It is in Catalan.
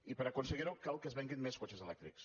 i per a aconseguirho cal que es venguin més cotxes elèctrics